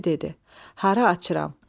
Tülkü dedi: Hara açıram?